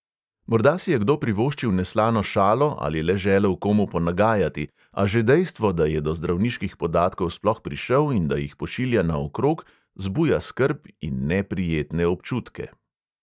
Morda si je kdo privoščil neslano šalo ali le želel komu ponagajati, a že dejstvo, da je do zdravniških podatkov sploh prišel in da jih pošilja naokrog, zbuja skrb in neprijetne občutke.